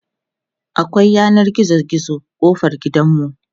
akwai yanan gizo gizo kofar gidanmu